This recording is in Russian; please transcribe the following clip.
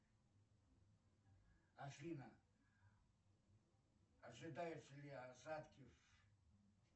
афина ожидаются ли осадки